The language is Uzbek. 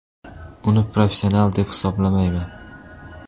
Uni professional deb hisoblamayman .